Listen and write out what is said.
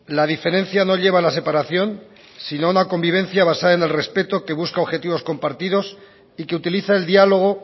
la diferencia no lleva a la separación sino a una convivencia basada en el respeto que busca objetivos compartidos y que utiliza el diálogo